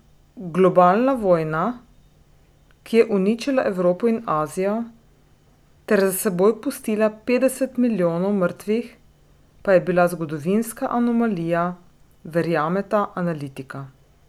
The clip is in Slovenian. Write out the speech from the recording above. Globalna vojna, ki je uničila Evropo in Azijo ter za seboj pustila petdeset milijonov mrtvih, pa je bila zgodovinska anomalija, verjameta analitika.